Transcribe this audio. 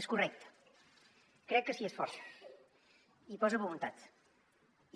és correcte crec que s’hi esforça hi posa voluntat